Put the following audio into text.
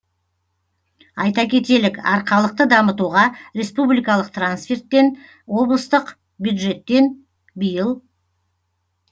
айта кетелік арқалықты дамытуға республикалық трансферттен облыстық бюджеттен биыл